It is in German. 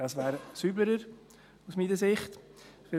Das wäre sauberer, meiner Ansicht nach.